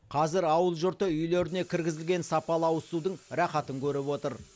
қазір ауыл жұрты үйлеріне кіргізілген сапалы ауызсудың рахатын көріп отыр